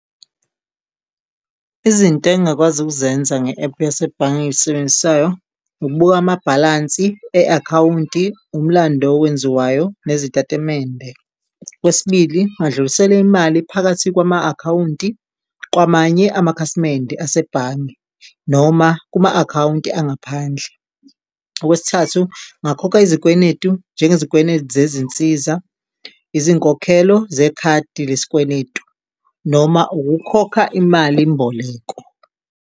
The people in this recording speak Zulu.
Izinto engingakwazi ukuzenza nge ephu yasebhange engilisebenzisayo ukubuka amabhalansi e-akhawunti. Umlando owenziwayo nezitatimende okwesibili, badlulisele imali phakathi kwama akhawunti kwamanye amakhasimende asebhange noma kuma akhawunti angaphandle. Okwesithathu, ngakhokha izikwenetu njenge zikwenetu zezinsiza izinkokhelo zekhadi lesikweletu noma ukukhokha imalimboleko.